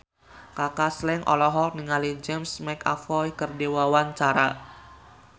Kaka Slank olohok ningali James McAvoy keur diwawancara